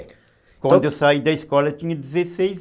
É. Quando eu saí da escola eu tinha dezesseis